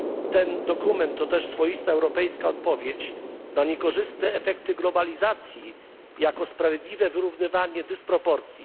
Ten dokument to też swoista europejska odpowiedź na niekorzystne efekty globalizacji jako sprawiedliwe wyrównywanie dysproporcji.